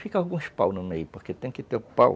Fica alguns paus no meio, porque tem que ter o pau.